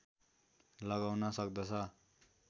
लगाउन सक्दछ